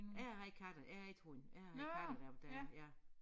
Jeg havde katte jeg havde ikke hund jeg havde katte da da jeg